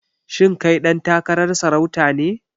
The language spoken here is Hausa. Shin kai ɗan takarar sarauta ne?